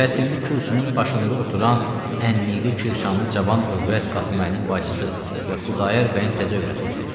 Bəs indi kürsünün başında oturan, ənnilikli Kirşanlı cavan övrət Qasımməlinin bacısı və Xudayar bəyin təzə övrətidir.